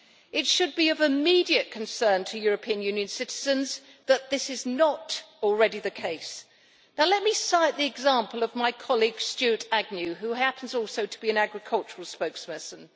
It should be of immediate concern to European Union citizens that this is not already the case. Let me cite the example of my colleague Stuart Agnew who happens also to be an agricultural spokesperson.